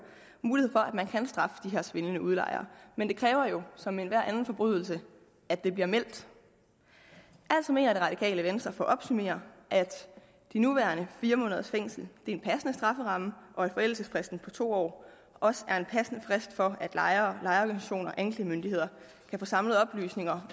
mulighed for at man kan straffe de her svindlende udlejere men det kræver jo som ved enhver anden forbrydelse at det bliver meldt altså mener det radikale venstre for at opsummere at de nuværende fire måneders fængsel er en passende strafferamme og at forældelsesfristen på to år også er en passende frist for at lejere lejerorganisationer og anklagemyndigheden kan få samlet oplysninger